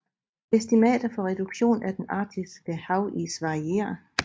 Estimater for reduktion af den arktiske havis varierer